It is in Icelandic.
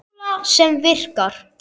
Formúla sem virkar.